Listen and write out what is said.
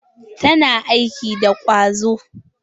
Tana aiki da ƙwazo.